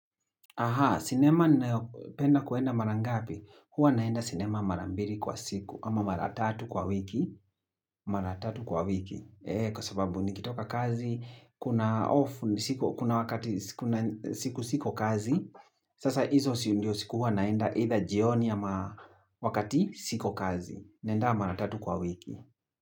Aha, sinema ninapenda kwenda mara ngapi? Huwa naenda sinema mara mbili kwa siku, ama mara tatu kwa wiki, mara tatu kwa wiki, kwasababu nikitoka kazi, kuna off, kuna wakati siku siko kazi, sasa hizo sindio siku huwa naenda either jioni ama wakati siko kazi, naenda mara tatu kwa wiki.